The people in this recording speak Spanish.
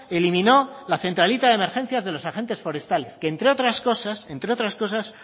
eliminó la centralita de emergencias de los agentes forestales que entre otras cosas entre otras cosas